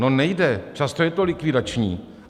No nejde, často je to likvidační.